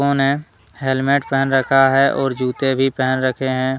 उन्हें हेलमेट पहन रखा है और जूते भी पहन रखे है।